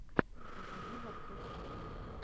покажи борцовский клуб